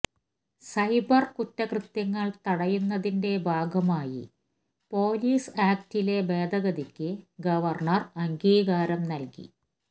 cyber കുറ്റകൃത്യങ്ങൾ തടയുന്നതിന്റെ ഭാഗമായി പോലീസ് ആക്ടിലെ ഭേദഗതിക്ക് ഗവർണർ അംഗീകാരം നൽകി